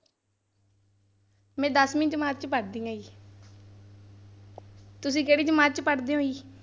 ਮੈਂ ਦਸਵੀਂ ਜਮਾਤ ਚ ਪੜ੍ਹਦੀ ਹਾਂ ਜੀ ਤੁਸੀਂ ਕਿਹੜੀ ਜਮਾਤ ਚ ਪੜ੍ਹਦੇ ਹੋ ਜੀ?